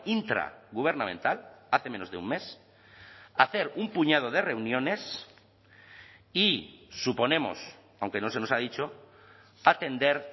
intragubernamental hace menos de un mes hacer un puñado de reuniones y suponemos aunque no se nos ha dicho atender